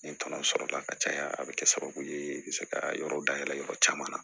N ye tɔnɔ sɔrɔla ka caya a be kɛ sababu ye se ka yɔrɔ dayɛlɛ yɔrɔ caman na